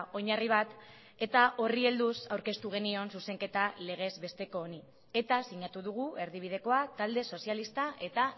oinarri bat eta horri helduz aurkeztu genion zuzenketa legezbesteko honi eta sinatu dugu erdibidekoa talde sozialista eta